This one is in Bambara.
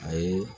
A ye